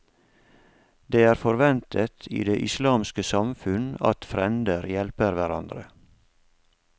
Det er forventet i det islandske samfunn at frender hjelper hverandre.